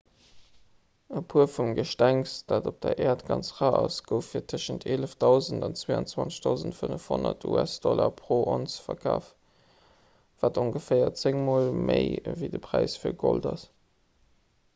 e puer vum gestengs dat op der äert ganz rar ass gouf fir tëschent 11 000 an 22 500 usd pro onz verkaaft wat ongeféier zéng mol méi ewéi de präis fir gold ass